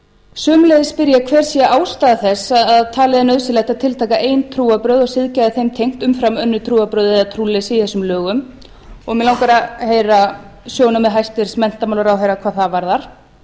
sömuleiðis spyr ég hver sé ástæða þess að talið er nauðsyn að tiltaka ein trúarbrögð og siðgæði þeim tengt umfram önnur trúarbrögð eða trúleysi í þessum lögum mig langar að heyra sjónarmið hæstvirtur menntamálaráðherra hvað það varðar